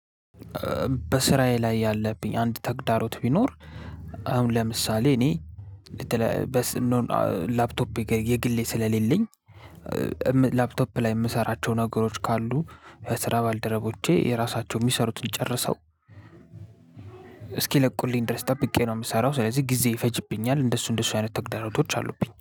በስራዬ ላይ ያለብኝ አንድ ተግዳሮት ቢኖር አሁን ለምሳሌ እኔ ላፕቶፕ የግሌ ስለሌለኝ ላፕቶፕ ላይ የምሰራቸው ነገሮች ካሉ የስራ ባልደረቦቼ የራሳቸው የሚሰሩትን ጨርሰው እስኪለቁልኝ ድረስ ጠብቄ ነው የምሰራው። ስለዚህ ጊዜ ይፈጅብኛል እንደሱ እንደሱ አይነት ተግባራቶች አሉብኝ